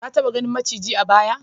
Ka taba ganin maciji a baya?